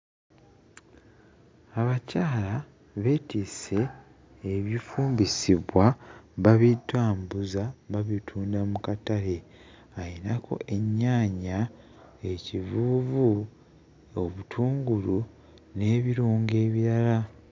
Abakyala beetisse ebifumbisibwa babitambuza babitunda mu katale ayinako ennyaanya, ekivuuvu, obutungulu n'ebirungo ebirala.